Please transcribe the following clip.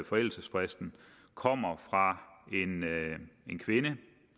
forældelsesfristen kommer fra en